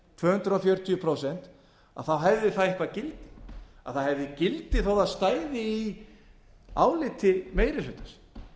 tvö hundruð fjörutíu prósent hefði það eitthvert gildi að það hefði gildi þó að það stæði í áliti meiri hlutans